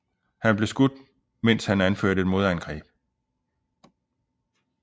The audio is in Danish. Han blev skudt mens han anførte et modangreb